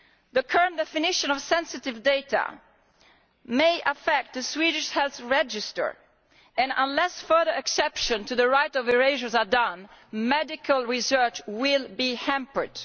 The current definition of sensitive data may affect the Swedish health register, and unless further exceptions to the right of erasure are made, medical research will be hampered.